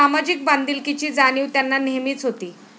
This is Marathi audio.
सामाजिक बांधिलकीची जाणीव त्यांना नेहमीच होती.